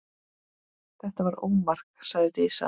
Þetta var ómark, sagði Dísa.